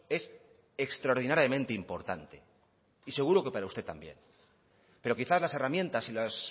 es extraordinariamente importante y seguro que para usted también pero quizás las herramientas y las